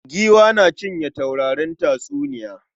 Giwa na cikin taurarin tatsuniya.